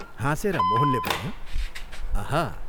हाँसेर मोहनले भन्यो, "अहा!